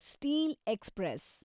steel express